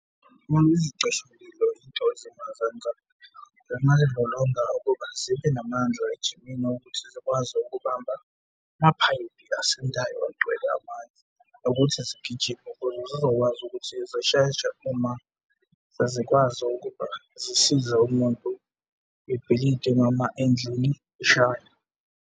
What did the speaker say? Izicishamlilo izinto ezingazenza, zingayilolonga ukuba zibe namandla ejimini ukuthi zikwazi ukubamba amaphayiphi asindayo, agcwele amanzi nokuthi zigijime ukuze zizokwazi ukuthi zisheshe uma sezikwazi ukuba zisize umuntu, ibhilidi noma endlini eshayo.